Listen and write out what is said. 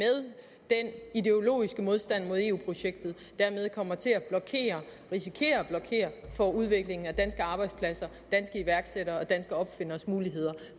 ideologiske modstand mod eu projektet dermed kommer til at risikere at blokere for udviklingen af danske arbejdspladser danske iværksættere og danske opfinderes muligheder